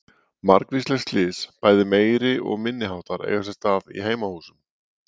Margvísleg slys, bæði meiri- og minniháttar eiga sér stað í heimahúsum.